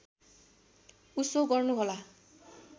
उसो गर्नुहोला